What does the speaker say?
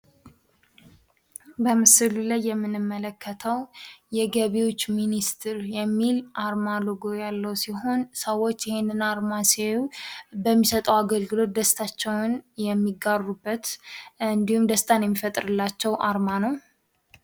በምስሉ ላይ የምንመለከተው የገቢዎች ሚኒስትር የሚል ጽሁፍ ያለው አርማ ሲሆን ፤ ሰዎች ይህን አርማ ሲያዩ በሚሰጠው አገልግሎት ደስታቸዉን የሚጋሩበት እንዲሁም ደስታን የሚፈጥርላቸው አርማ ነው።